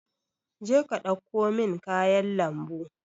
je ka ɗauko min kayan lambu.